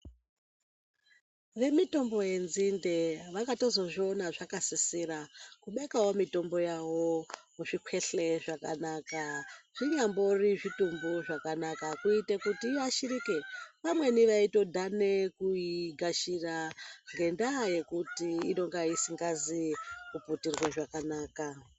Ve mitombo ye nzinde vakatozo zviona zvaka sisira kubekawo mitombo yavo mu zvikweshe zvakanaka zvi nyambori zvitumbu zvakanaka kuite kuti iyashirike vamweni vaito dhane kuyi gashira ngenda yekuti inonga isingazi ku putirwe zvakanaka.